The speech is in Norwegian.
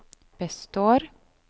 består